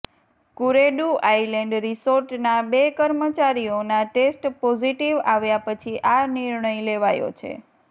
Kuredu island રિસોર્ટના બે કર્મચારીઓના ટેસ્ટ પોઝિટિવ આવ્યા પછી આ નિર્ણય લેવાયો છે